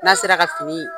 N'a sera ka fini